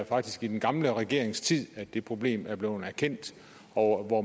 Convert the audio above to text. faktisk i den gamle regerings tid at det problem blev erkendt og hvor